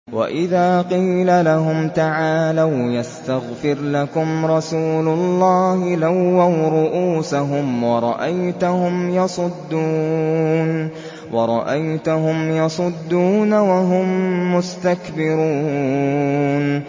وَإِذَا قِيلَ لَهُمْ تَعَالَوْا يَسْتَغْفِرْ لَكُمْ رَسُولُ اللَّهِ لَوَّوْا رُءُوسَهُمْ وَرَأَيْتَهُمْ يَصُدُّونَ وَهُم مُّسْتَكْبِرُونَ